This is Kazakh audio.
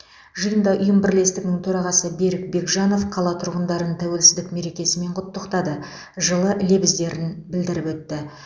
жиында ұйым бірлестігінің төрағасы берік бекжанов қала тұрғындарын тәуелсіздік мерекесімен құттықтады жылы лебізін білдіріп өтті